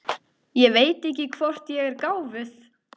Ég veit ekki hvort ég er gáfuð.